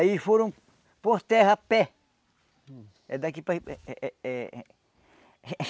Aí foram por terra a pé. É daqui para eh eh eh